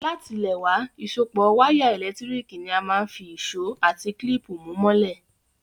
Látilẹ̀wá, ìsopọ́ wire ẹ́lẹ̀ntirikì ni a máa n fi ìsó àti clip mú mọ́lẹ̀